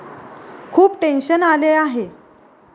खूप टेन्शन आले आहे.